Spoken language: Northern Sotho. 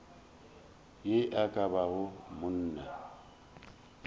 ye e ka bago monna